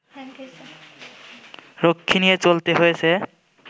রক্ষী নিয়ে চলতে হয়েছে